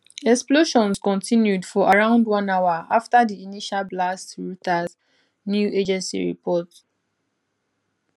explosions continued for around one hour after di initial blasts reuters news agency report